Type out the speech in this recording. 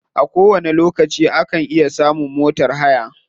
A kowani lokaci ana iya samun motar haya.